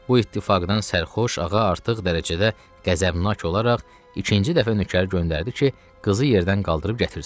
Bu ittifaqdan sərxoş ağa artıq dərəcədə qəzəbnak olaraq ikinci dəfə nökər göndərdi ki, qızı yerdən qaldırıb gətirsin.